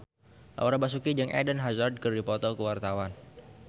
Laura Basuki jeung Eden Hazard keur dipoto ku wartawan